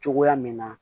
Cogoya min na